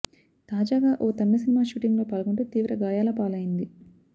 తాజాగా ఓ తమిళ సినిమా షూటింగులో పాల్గొంటూ తీవ్ర గాయాల పాలైంది